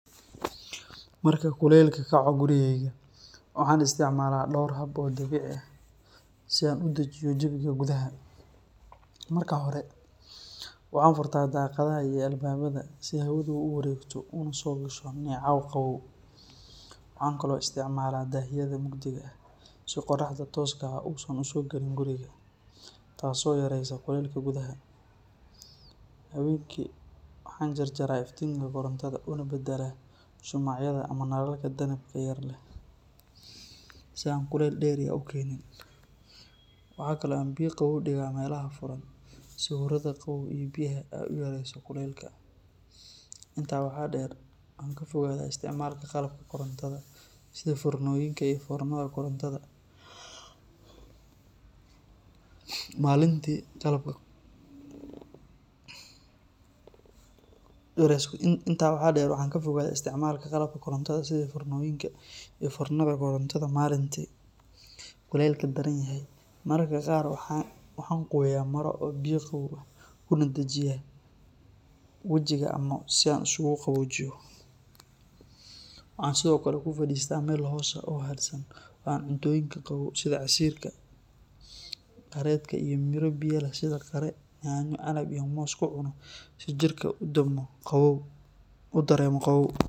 Marka kulaylka kaco gurigayga, waxaan isticmaalaa dhowr hab oo dabiici ah si aan u dejiyo jawiga gudaha. Marka hore, waxaan furtaa daaqadaha iyo albaabada si hawadu u wareegto una soo gasho neecaw qabow. Waxaan kaloo isticmaalaa daahyada mugdiga ah si qorraxda tooska ah uusan u soo gelin guriga, taasoo yareysa kulaylka gudaha. Habeenkii waxaan jarjarayaa iftiinka korontada una beddelaa shumacyada ama nalalka danabka yar leh si aan kulayl dheeri ah u keenin. Waxaa kale oo aan biyo qaboow dhigaa meelaha furan si huurada qabow ee biyaha ay u yareyso kulaylka. Intaa waxaa dheer, waxaan ka fogaadaa isticmaalka qalabka korontada sida foornooyinka iyo foornada korontada maalintii kulaylka daran yahay. Mararka qaar, waxaan qoyaa maro yar oo biyo qabow ah kuna dhajiyaa wejiga ama qoorta si aan isugu qaboojiyo. Waxaan sidoo kale ku fadhiistaa meel hoos ah oo hadhsan oo aan cuntooyinka qabow sida casiirka, qareedka iyo miro biyo leh sida qare, yaanyo, canab iyo moos ku cuno si jirka u dareemo qabow.